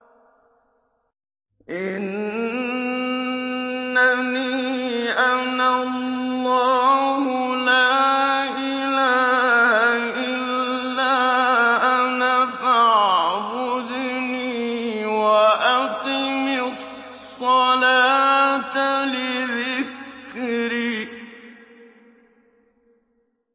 إِنَّنِي أَنَا اللَّهُ لَا إِلَٰهَ إِلَّا أَنَا فَاعْبُدْنِي وَأَقِمِ الصَّلَاةَ لِذِكْرِي